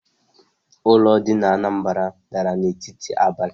Ulo di na Anambra dara n'etiti abali